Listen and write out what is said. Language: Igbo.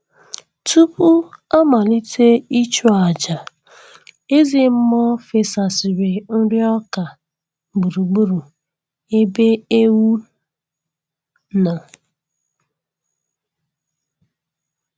Tupu amalite ịchụ aja, eze mmụọ fesasịrị nri ọka gburugburu ebe ewu nọ